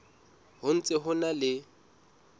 ho ntse ho na le